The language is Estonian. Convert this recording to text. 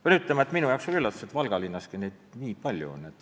Pean ütlema, et minu jaoks oli üllatav, et neid Valga linnaski nii palju on.